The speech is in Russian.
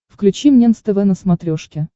включи мне нств на смотрешке